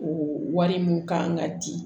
O wari min ka kan ka di